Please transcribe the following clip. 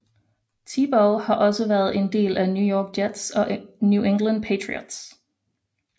Tebow har også været en del af New York Jets og New England Patriots